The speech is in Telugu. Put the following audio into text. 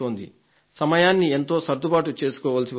సమయాన్ని ఎంతో సర్దుబాటు చేసుకోవలసి వస్తోంది